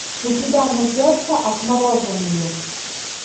у тебя найдется отмороженные